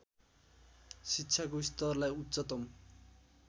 शिक्षाको स्तरलाई उच्चतम